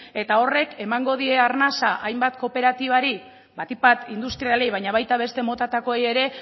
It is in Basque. eta horrek emango die arnasa hainbat kooperatibari batik bat industrialei baina baita beste motatakoei ere